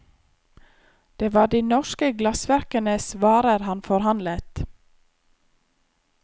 Det var de norske glassverkenes varer han forhandlet.